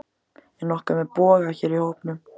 Er nokkur með boga hér í hópnum?